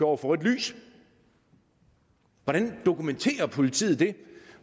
over for rødt lys hvordan dokumenterer politiet det